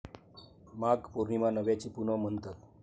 माघ पौर्णिमा 'नव्याची पुनव' म्हणतात.